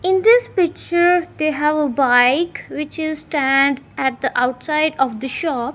in this picture they have a bike which is stand at the outside of the shop.